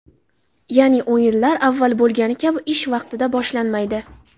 Ya’ni, o‘yinlar avval bo‘lgani kabi ish vaqtida boshlanmaydi.